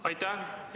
Aitäh!